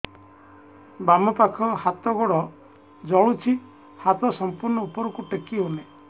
ବାମପାଖ ହାତ ଗୋଡ଼ ଜଳୁଛି ହାତ ସଂପୂର୍ଣ୍ଣ ଉପରକୁ ଟେକି ହେଉନାହିଁ